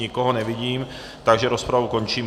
Nikoho nevidím, takže rozpravu končím.